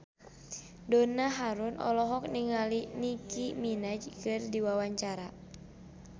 Donna Harun olohok ningali Nicky Minaj keur diwawancara